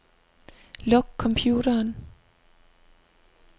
Luk computeren.